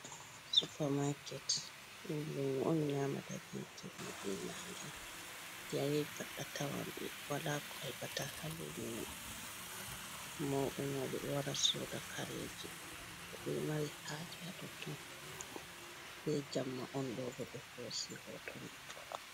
Supamaket, ɗum lumo on nyamata be jemma be nange. Nde a yahi pat a tawan ɓe. Wala ko a haɓata haa lumo mai. Mauɓe-mauɓe ɗo wara soda kareji, ko ɓe mari haaje haa totton. Be jamma on ɗo bo ɓe hoosi hoto man.